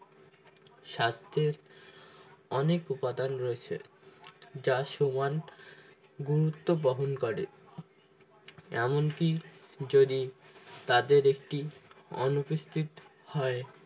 স্বাস্থ্যের অনেক উপাদান রয়েছে যা সমান গুরুত্ব বহন করে এমনকি যদি তাদের একটি অনুপস্থিত হয়